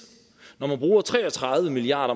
når man bruger tre og tredive milliard